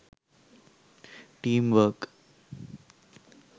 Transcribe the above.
team work